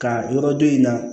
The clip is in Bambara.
Ka yɔrɔ dɔ in na